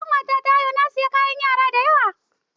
Da ƙawata ta haihu na saye kayan yara da yawa.